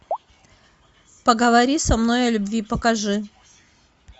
поговори со мной о любви покажи